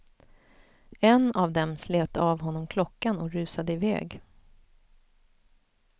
En av dem slet av honom klockan och rusade iväg.